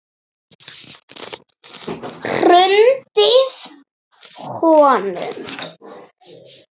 Hrundið honum?